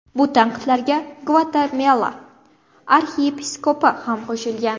Bu tanqidlarga Gvatemala arxiyepiskopi ham qo‘shilgan.